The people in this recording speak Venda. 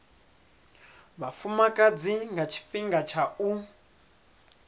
vhafumakadzi nga tshifhinga tsha u